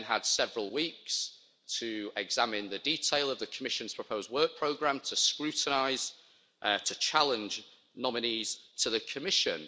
We then had several weeks to examine the detail of the Commission's proposed work programme, to scrutinise, to challenge nominees to the Commission.